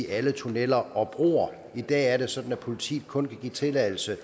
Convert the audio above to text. alle tunneller og broer i dag er det sådan at politiet kun kan give tilladelse